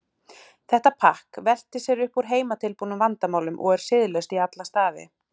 Þetta pakk veltir sér upp úr heimatilbúnum vandamálum og er siðlaust í alla staði.